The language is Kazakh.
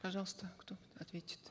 пожалуйста кто ответит